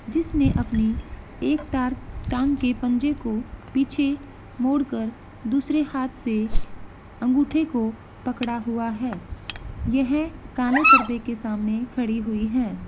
जिसने अपनी एक टार टांग के पंजे को पीछे मोड़ कर दूसरे हाथ से अंगूठे को पकड़ा हुआ है यह काले पर्दे के सामने खड़ी हुई है।